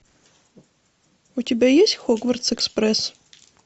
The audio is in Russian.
у тебя есть хогвартс экспресс